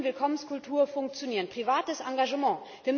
gewähren. So kann Willkommenskultur funktionieren privates Engagement.